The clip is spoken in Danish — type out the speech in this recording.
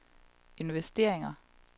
investeringer